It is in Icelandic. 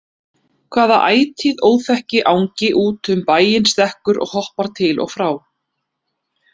Hvaða ætíð óþekki angi út um bæinn stekkur og hoppar til og frá?